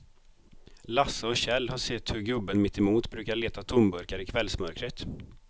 Lasse och Kjell har sett hur gubben mittemot brukar leta tomburkar i kvällsmörkret.